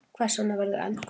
Hvers vegna verður eldgos?